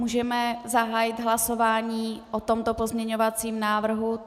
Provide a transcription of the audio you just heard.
Můžeme zahájit hlasování o tomto pozměňovacím návrhu.